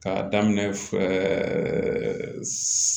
K'a daminɛ